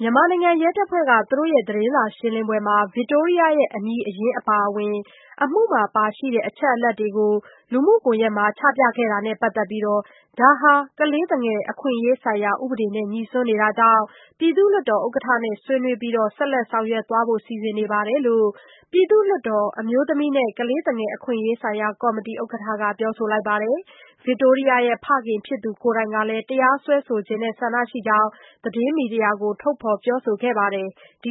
မြန်မာနိုင်ငံရဲတပ်ဖွဲ့က သူတို့ရဲ့သတင်းစာရှင်းလင်းပွဲမှာ ဗစ်တိုးရီးယားရဲ့ အမည်အရင်းအပါအဝင်၊ အမှုမှာပါရှိတဲ့ အချက်အလက်တွေကို ချပြခဲ့တာနဲ့ပတ်သက်ပြီး ဒါဟာ ကလေးသူငယ်အခွင့်အရေးဆိုင်ရာ ဥပဒေနဲ့ ငြိစွန်းနေတာကြောင့် ပြည်သူ့လွှတ်တော်ဥက္ကနဲ့ ဆွေးနွေးပြီး ဆက်လက်ဆောင်ရွက်သွားဖို့ စီစဉ်နေတယ်လို့ ပြည်သူ့လွှတ်တော် အမျိုးသမီးနှင့် ကလေးသူငယ်အခွင့်အရေးဆိုင်ရာ ကော်မတီ ဥက္ကဌက ပြောပါတယ်။ ဗစ်တိုးရီးယားရဲ့ဖခင်ဖြစ်သူကိုယ်တိုင်ကလည်း တရားစွဲဆိုချင်တဲ့ ဆန္ဒရှိကြောင်း သတင်းမီဒီယာတွေကို ထုတ်ဖေါ်ပြောဆိုထားတာပါ။ ဒီ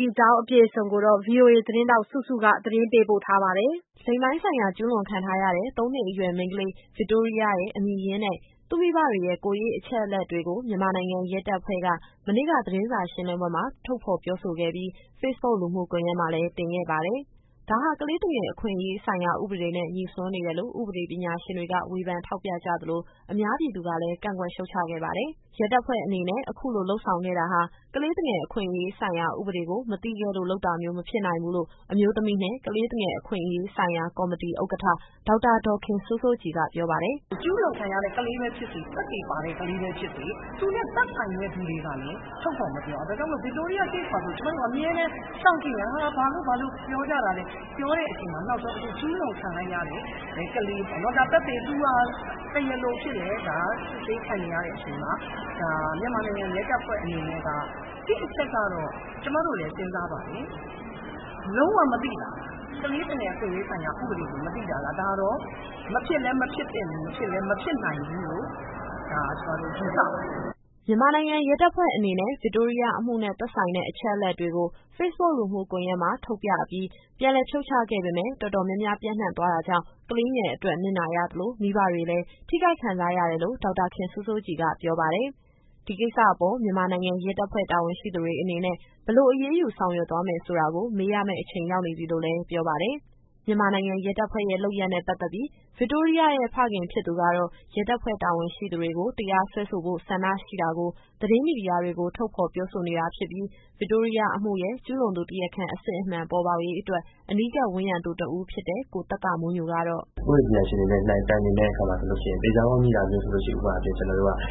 အကြောင်း အပြည့်အစုံကို ဗွီအိုအေသတင်းထောက် စုစုကပြောပြပေးမှာပါ။ လိင်ပိုင်းဆိုင်ရာ ကျူးလွန်ခံထားရတဲ့ သုံးနှစ်အရွယ် မိန်းကလေး ဗစ်တိုးရီးယားရဲ့ အမည်ရင်းနဲ့ သူ့မိဘတွေရဲ့ ကိုယ်ရေးအချက်အလက်တွေကို မြန်မာနိုင်ငံရဲတပ်ဖွဲ့က မနေ့ကသတင်းစာရှင်းလင်းပွဲမှာ ထုတ်ဖော်ပြောဆိုခဲ့ပြီး၊ ဖေ့ဘုတ်လူမှုကွန်ယက်မှာလည်း တင်ခဲ့ပါတယ်။ ဒါဟာ ကလေးသူငယ်အခွင့်အရေးဆိုင်ရာ ဥပဒေနဲ့ ငြိစွန်းနေတယ်လို့ ဥပဒေပညာရှင်တွေက ဝေဖန်ထောက်ပြကြသလို၊ အများပြည်သူကလည်း ကန့်ကွက်ရှုတ်ချခဲ့ပါတယ်။ ရဲတပ်ဖွဲ့အနေနဲ့ အခုလိုလုပ်ဆောင်ခဲ့တာဟာ ကလေးသူငယ်အခွင့်အရေးဆိုင်ရာ ဥပဒေကို မသိခဲ့လို့ လုပ်တာမျိုးမဖြစ်နိုင်ဘူးလို့ အမျိုးသမီးနှင့် ကလေးသူငယ်အခွင့်အရေးဆိုင်ရာ ကော်မတီဥက္ကဋ္ဌ ဒေါက်တာဒေါ်ခင်စိုးစိုးကြည်က ပြောပါတယ်။ “ဒီကလေးတွေက ကျူးလွန်ခံရတဲ့ ကလေးပဲဖြစ်စေ၊ သက်သေပါတဲ့ ကလေးပဲဖြစ်စေ သူနဲ့သက်ဆိုင်တဲ့သူတွေကလည်း ထုတ်ဖော်မပြောရဘူး။ ဒါကြောင့်မို့ ဗစ်တိုးရီးယား Case မှာဆို အမြဲတမ်းစောင့်ကြည့်နေတာ။ ဘာလို့ပြောကြတာလဲ နောက်ဆုံးကျူးလွန်ခံရတဲ့ကလေးပေါ့နော် ။ သူဟာ တရားလိုအဖြစ်လည်း စစ်ဆေးခံနေရတဲ့အချိန်မှာ မြန်မာနိုင်ငံရဲတပ်ဖွဲ့အနေနဲ့က တချက်ကတော့ ကျမတို့လည်း စဉ်းစားပါတယ်။ ကလေးသူငယ်အခွင့်အရေးဆိုင်ရာ ဥပဒေကို မသိတာလား။ ဒါတော့ မဖြစ်လည်း မဖြစ်သင့်ဘူး။ မဖြစ်လည်း မဖြစ်နိုင်ဘူးလို့ ကျမတို့ယူဆပါတယ်။” မြန်မာနိုင်ငံရဲတပ်ဖွဲ့အနေနဲ့ ဗစ်တိုးရီးယားအမှုနဲ့ သက်ဆိုင်တဲ့အချက်အလက်တွေကို ဖေ့ဘုတ်လူမှုကွန်ယက်မှာ ထုတ်ပြအပြီး ပြန်လည်ဖြုတ်ချခဲ့ပေမယ့် တော်တော်များများပြန့်နှံ့ သွားတာကြောင့် ကလေးငယ်အတွက် နစ်နာရသလို၊ မိဘတွေလည်း ထိခိုက်ခံစားရတယ်လို့ ဒေါက်တာဒေါ်ခင်စိုးစိုးကြည်က ပြောပါတယ်။ ဒီကိစ္စအပေါ် မြန်မာနိုင်ငံရဲတပ်ဖွဲ့ တာဝန်ရှိသူတွေ အနေနဲ့ ဘယ်လိုအရေးယူ ဆောင်ရွက် သွားမယ် ဆိုတာကို မေးရမယ့် အချိန် ရောက်နေပြီလို့လည်း ပြောပါတယ်။ မြန်မာနိုင်ငံရဲတပ်ဖွဲ့ရဲ့ လုပ်ရပ်နဲ့ပတ်သက်ပြီး ဗစ်တိုးရီးယားရဲ့ဖခင်ဖြစ်သူကတော့ ရဲတပ်ဖွဲ့တာဝန်ရှိသူတွေကို တရားစွဲဖိ ဆိုချင်တဲ့ ဆန္ဒရှိတာကို သတင်းမီဒီယာတွေကို ထုတ်ဖေါ်ပြောဆိုနေတာ ဖြစ်ပြီး ဗစ်တိုးရီးယားအမှုရဲ့ ကျူးလွန်သူတရားခံအစစ်အမှန် ပေါ်ပေါက်ရေးအတွက် အနီးကပ်ဝန်းရံသူတဦးဖြစ်တဲ့ ကိုသက္ကမိုးညိုကတော့ “ဥပဒေပညာရှင်တွေနဲ့ တိုင်ပင်တဲ့အခါမှာ ဆိုလို့ရှိရင် သေချာပေါက်ငြိတာဆိုလို့ရှိရင် ဥပမာအားဖြင့် ကျနော်တို့က ဒီတရား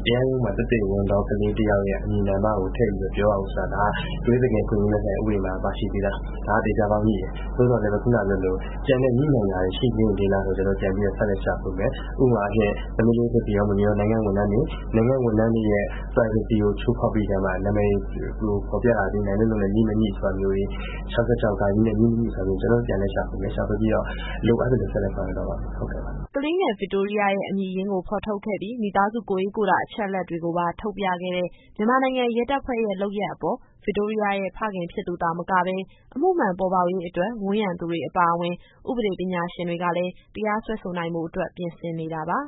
ရုံးမှာ သက်သေဝင်သော ကလေးတယောက်ရဲ့ အမည်နာမကို ထည့်ပြီးမပြောရဘူးဆိုတာ ဒါက ကလေးသူငယ်အခွင့်အရေးများဆိုင်ရာ ဥပဒေမှာ ပါရှိပြီးသား။ ဒါကသေချာပေါက် ငြိတယ်။ သို့သော်လည်းပဲ ခုနကပြောသလို ကျန်တဲ့ငြိနိုင်တာတွေ ရှိနေသေးလားဆိုတာ ကျနော်တို့က ပြန်ပြီးတော့ဆက်လက် ရှာဖွေမယ်။ ဥပမာအားဖြင့် သမီးလေး ဖေဖေရော မေမေရော နိုင်ငံ့ဝန်ထမ်းတွေ။ နိုင်ငံ့ဝန်ထမ်းတွေရဲ့ Privacy ကို ချိုးဖောက်ပြီးကာမှ နာမည်တွေကိုဖော်ပြတာသည် နိုင်လွတ်လုံနဲ့ငြိ မငြိဆိုတာမျိုးတွေ၊ ၆၆ နဲ့ ငြိ ၊ မငြိဆိုတာမျိုးတွေ ကျနော်တို့ပြန်လည်ရှာဖွေမယ်။ ရှာဖွေပြီးတော့ လိုအပ်သလို ဆက်လက်ဆောင်ရွက်သွားပါမယ်။” ကလေးငယ် ဗစ်တိုးရီးယားရဲ့ အမည်ရင်းကို ဖော်ထုတ်ခဲ့ပြီး၊ မိသားစုကိုယ်ရေးကိုယ်တာ အချက်အလက်တွေကိုပါ ထုတ်ပြခဲ့တဲ့ မြန်မာနိုင်ငံရဲတပ်ဖွဲ့ရဲ့ လုပ်ရပ်အပေါ် ဗစ်တိုးရီးယားရဲ့ဖခင်ဖြစ်သူသာမကဘဲ၊ အမှုမှန်ပေါ်ပေါက်ရေးအတွက် ဝန်းရံသူတွေအပါအဝင်၊ ဥပဒေပညာရှင်တွေကလည်း တရားစွဲဆိုနိုင်ဖို့အတွက် ပြင်ဆင်နေတာပါ